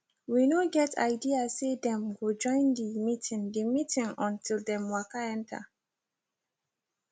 we no get idea say dem go join the meeting the meeting until dem waka enter